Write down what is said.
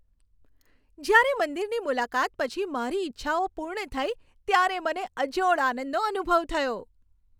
જ્યારે મંદિરની મુલાકાત પછી મારી ઇચ્છાઓ પૂર્ણ થઈ ત્યારે મને અજોડ આનંદનો અનુભવ થયો.